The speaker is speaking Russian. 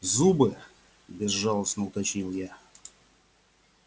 зубы безжалостно уточнил я